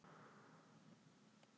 Því ekki þá spóa og lóu?